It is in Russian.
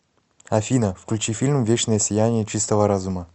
афина включи фильм вечное сияние чистого разума